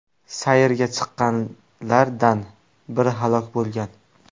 Sayrga chiqqanlardan biri halok bo‘lgan.